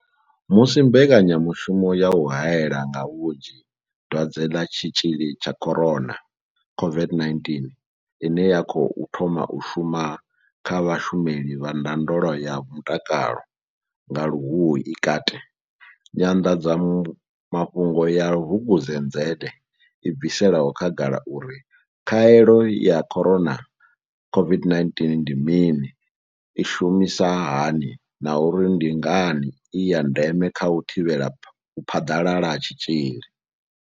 Musi mbekanyamushumo ya u haela nga vhunzhi Dwadze ḽa tshitzhili tsha corona COVID-19 ine ya khou thoma u shuma kha vhashumeli vha ndondolo ya mutakalo nga luhuhi i kati, nyanḓadzamafhungo ya Vukuzenzele i bvisela khagala uri khaelo ya Corona COVID-19 ndi mini, i shumisa hani na uri ndi ngani i ya ndeme kha u thivhela u phaḓalala ha tshitzhili.